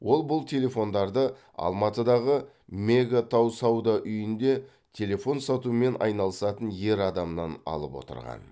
ол бұл телефондарды алматыдағы мега тау сауда үйінде телефон сатумен айналысатын ер адамнан алып отырған